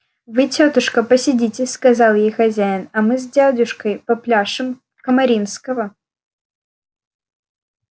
вы тётушка посидите сказал ей хозяин а мы с дядюшкой попляшем камаринского